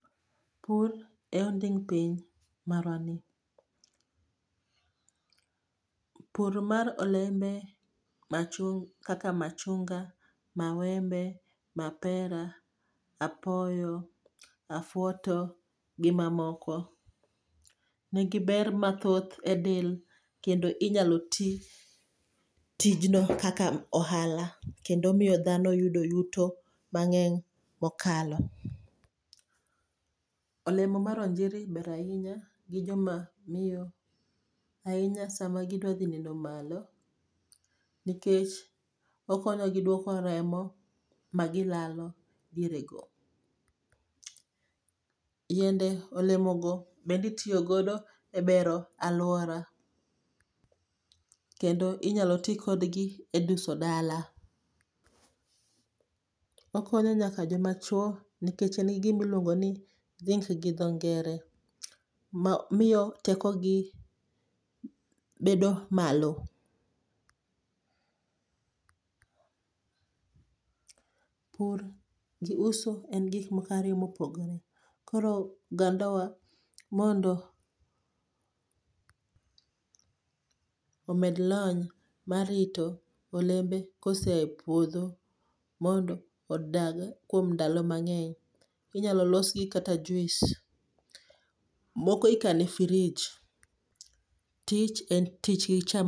Pur e onding' piny marwani. Pur mar olembe,, kaka machunga, mawembe, mapera, apoyo, afwoto gi mamoko nigi ber mathoth e del kendo inyalo ti tijno kaka ohala, kendo miyo dhano yudo yuto mang'eny mokalo. Olemo mar onjiri ber ahinya gi joma miyo, ahinya sama gidwa dhi neno malo, nikech okonyo gi dwoko remo magilalo diere go. Yiende olemogo bende itiyo godo e bero alwora. Kendo inyalo ti kodgi e duso dala. Okonyo nyaka joma chwo nikech en gi gima iluongo ni gi dho ngere. Ma miyo teko gi bedo malo. Pur gi uso en gik moko ariyo ma opogore. Koro oganda wa mondo omed lony mar rito olembe koseapuodho mondo odag kuom ndalo mang'eny. Inyalo los gi kaka juice, moko ikano e fridge. Tich en tich.